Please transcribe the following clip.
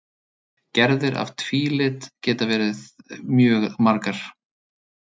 Gerðir af tvílit geta verið mjög margar.